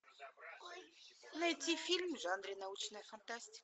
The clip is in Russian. найти фильм в жанре научная фантастика